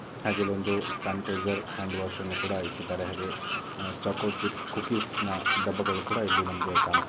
ಹಾಗೆ ಇಲ್ಲಿ ಒಂದು ಸ್ಯಾನಿಟೈಸರ್ ಹ್ಯಾಂಡ್ ವಾಶ್ ಅನ್ನ ಕೂಡ ಇಟ್ಟಿದ್ದಾರೆ. ಹಾಗೆ ಆಹ್ ಚಾಕೋ ಚಿಪ್ ಕುಕೀಸನ ಡಬ್ಬಗಳು ಸಹ ಇಲ್ಲಿ ನಮಗೆ ಕಾಣಿಸ್--